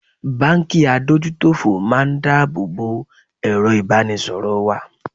Báńkì adójútòfò máa ń dá àbọ̀ bo èrọ ìbánisọ̀rọ̀ wa.